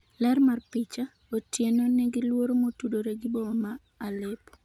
ler mar picha ,Otieno nigi luoro motudore gi boma ma Aleppo